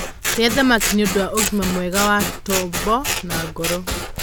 rĩa thamaki nĩũndũ wa ũgima mwega wa tobo na ngoro